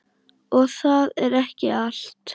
Og það er ekki allt.